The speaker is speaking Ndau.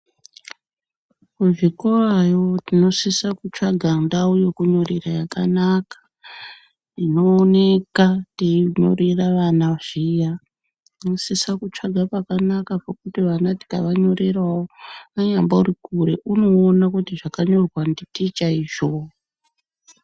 Kuzvikorayo tinosisa kutsvaga ndau yekunyorera yakanaka inooneka teinyorera vana zviro tinosisa kutsvaga pakanaka pekuti vana tikavanyorera anyambori kure unoona kuti zvakanyorwa nditicha izvo.